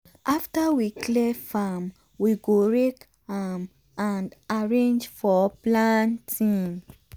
after we clear farm we go rake am and arrange for planting.